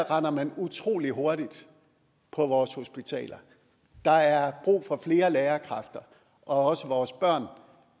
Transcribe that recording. render man utrolig hurtigt på vores hospitaler der er brug for flere lærerkræfter og også vores børn